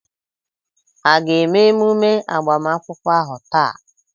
A ga-eme emume agbamakwụkwọ ahu taa?